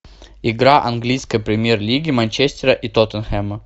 игра английской премьер лиги манчестера и тоттенхэма